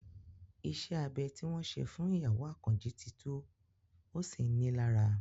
Ìṣe abẹ tí wọ́n ṣe fún ìyàwó Àkànjí ti tú, ó sì ń ni í lára